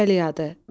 Xəstəlik adı.